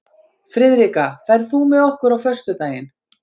Friðrikka, ferð þú með okkur á föstudaginn?